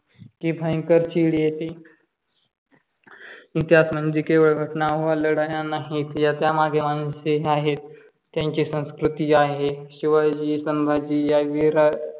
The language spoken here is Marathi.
इ तिहास म्हणइजे केव्हळ घटना व लढाया नाही या मागील मानसे आहे. त्यांची संस्कृति आहे शिवाजी संभाजी या वीर